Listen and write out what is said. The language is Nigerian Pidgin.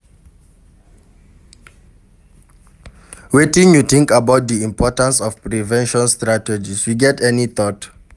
Wetin you think about di importance of prevention strategies, you get any thought?